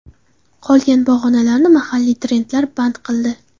Qolgan pog‘onalarni mahalliy trendlar band qildi.